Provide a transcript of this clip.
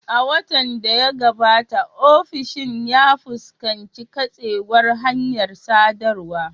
A watan da ya gabata, ofishin ya fuskanci katsewar hanyar sadarwa.